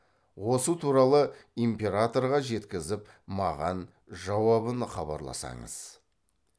осы туралы императорға жеткізіп маған жауабын хабарласаңыз